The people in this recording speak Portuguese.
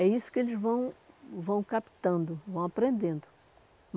É isso que eles vão vão captando, vão aprendendo.